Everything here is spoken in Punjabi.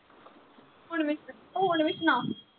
ਹੁਣ ਮੈਨੂੰ ਹੁਣ ਵੀ ਸੁਣਾ